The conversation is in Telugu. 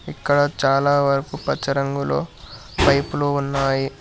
ఇక్కడ చాలా వరకు పచ్చ రంగులో పైపులు ఉన్నాయి.